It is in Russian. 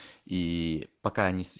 и пока